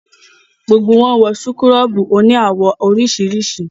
Gbogbo wọn wọ súkúrọ́bù òní àwọ̀ oríṣiríṣi